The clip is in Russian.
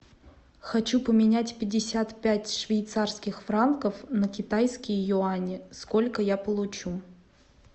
хочу поменять пятьдесят пять швейцарских франков на китайские юани сколько я получу